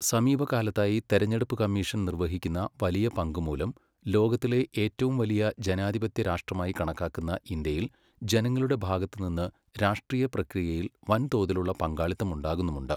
സമീപകാലത്തായി തെരഞ്ഞെടുപ്പു കമ്മീഷൻ നിർവഹിക്കുന്ന വലിയ പങ്ക് മൂലം ലോകത്തിലെ ഏറ്റവും വലിയ ജനാധിപത്യ രാഷ്ട്രമായി കണക്കാക്കുന്ന ഇന്ത്യയിൽ ജനങ്ങളുടെ ഭാഗത്തുനിന്ന് രാഷ്ട്രീയ പ്രക്രിയയിൽ വൻതോതിലുള്ള പങ്കാളിത്തം ഉണ്ടാകുന്നുമുണ്ട്.